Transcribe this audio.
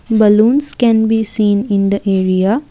balloons can be seen in the area.